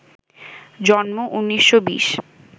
জন্ম ১৯২০